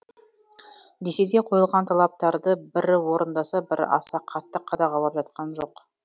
десе де қойылған талаптарды бірі орындаса бірі аса қатты қадағалап жатқан жоқ